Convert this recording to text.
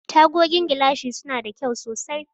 Tagogin gilashi suna da kyau sosai.